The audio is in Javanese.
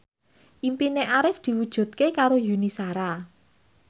impine Arif diwujudke karo Yuni Shara